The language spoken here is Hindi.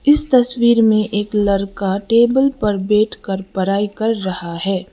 इस तस्वीर में एक लड़का टेबल पर बैठ कर पढ़ाई कर रहा है।